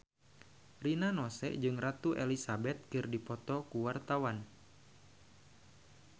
Rina Nose jeung Ratu Elizabeth keur dipoto ku wartawan